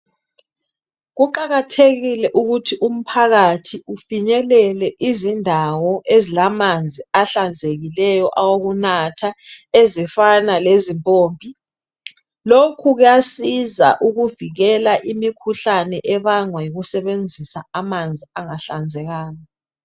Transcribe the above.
Kuqakathekile ukuthi umphakathi ufinyelele izindawo ezilamanzi ahlanzekileyo awokunatha ezifana lezimpompi lokhu kuyasiza ukuvikela imikhuhlane ebangwa yikusebenzisa amanzi angahlambulukanga.